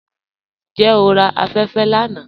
Njẹ́ o rà afẹ̀fẹ̀ lána?